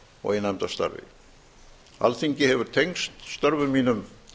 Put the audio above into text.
og í nefndastarfi alþingi hefur tengst störfum mínum